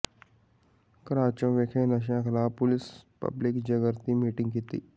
ਘਰਾਚੋਂ ਵਿਖੇ ਨਸ਼ਿਆਂ ਖ਼ਿਲਾਫ਼ ਪੁਲਿਸ ਪਬਲਿਕ ਜਾਗਿ੍ਤੀ ਮੀਟਿੰਗ ਕੀਤੀ